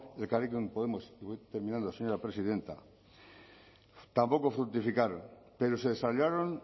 elkarrekin podemos voy terminando señora presidenta tampoco fructificaron pero se saldaron